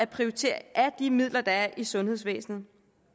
prioriteringen af de midler der er i sundhedsvæsenet